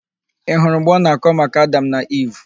Ị hụrụ mgbe ọ na-akọ maka Adam na Iv?